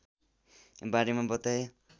बारेमा बताए